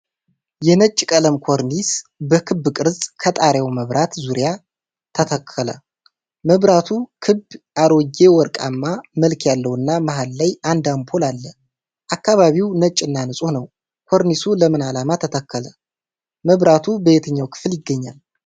የነጭ ቀለም ኮርኒስ በክብ ቅርጽ ከጣሪያው መብራት ዙሪያ ተተከለ። መብራቱ ክብ፣ አሮጌ ወርቃማ መልክ ያለውና መሀል ላይ አንድ አምፖል አለ። አካባቢው ነጭ እና ንጹህ ነው። ኮርኒሱ ለምን ዓላማ ተተከለ? መብራቱ በየትኛው ክፍል ይገኛል?